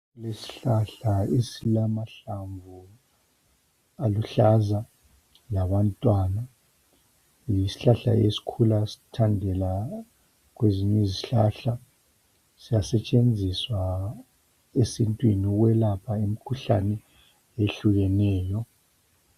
Isihlahla esilamahlamvu aluhlaza labantwana. Yisihlahla esikhula sithandela kwezinye izihlahla, siyasetshenziswa esintwini ukwelapha imikhuhlane etshiyeneyo.